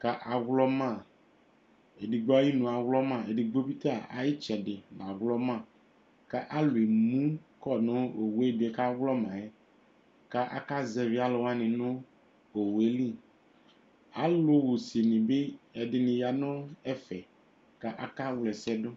ku awlɔmã Edigbo ayuinu yɛ awlɔmã, edigbo bita ayu itsɛdì awlɔma Ku alu emukɔ nu awu ɛdi yɛ ku awlɔma yɛ, ku aka zɛvi alu wani nu owu yɛ li Alu ɣusini bi ɛdini bi ya nu ɛfɛ, ku aka wla ɛsɛ du